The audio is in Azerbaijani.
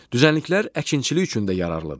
Düzənliklər əkinçilik üçün də yararlıdır.